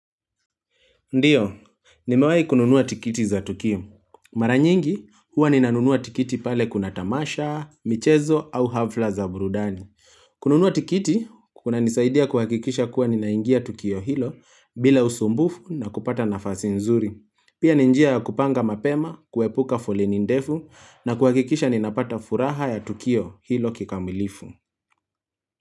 Ndiyo, nimewai kununuwa tikiti za Tukio. Mara nyingi, huwa ninanunuwa tikiti pale kuna tamasha, michezo au hafla za burudani. Kununuwa tikiti, kunanisaidia kuhakikisha kuwa ninaingia Tukio hilo bila usumbufu na kupata nafasi nzuri. Pia ni njia ya kupanga mapema, kuepuka foleni ndefu na kuhakikisha ninapata furaha ya Tukio hilo kikamilifu.